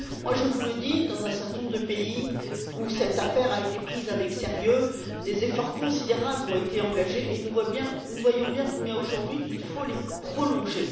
Je vous le dis, dans un certain nombre de pays où cette affaire a été prise au sérieux, des efforts considérables ont été engagés, et nous voyons bien combien, aujourd'hui, il faut les prolonger.